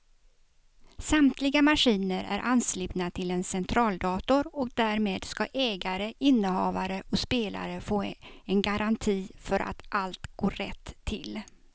Samtliga maskiner är anslutna till en centraldator och därmed ska ägare, innehavare och spelare få en garanti för att allt går rätt till.